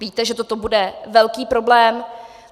Víte, že to bude velký problém.